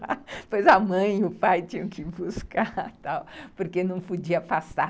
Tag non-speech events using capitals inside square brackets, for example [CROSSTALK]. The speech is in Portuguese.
[LAUGHS] Depois a mãe e o pai tinham que buscar e tal, porque não podia passar.